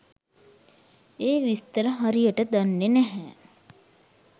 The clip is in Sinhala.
ඒ විස්තර හරියට දන්නේ නැහැ.